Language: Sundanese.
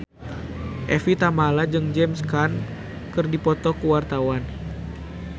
Evie Tamala jeung James Caan keur dipoto ku wartawan